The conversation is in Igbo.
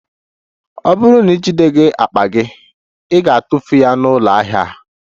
Ọ bụrụ na ijideghị akpa gị, ị ga-atụfu ya na ụlọ ahịa a